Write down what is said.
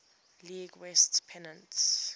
league west pennant